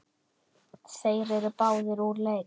Þeir eru báðir úr leik.